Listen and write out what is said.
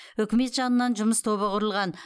үкімет жанынан жұмыс тобы құрылған